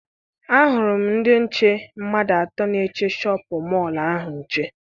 Ahụrụ m ndị nche mmadụ atọ na-eche Shọpịn mọọ ahụ nche.